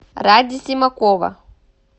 ради симакова